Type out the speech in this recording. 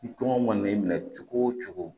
I kɔngɔ mana n'i minɛ cogo o cogo